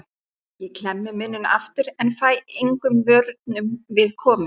Ég klemmi munninn aftur en fæ engum vörnum við komið.